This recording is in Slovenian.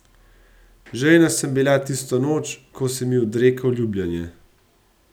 Žejna sem bila tisto noč, ko si mi odrekel ljubljenje.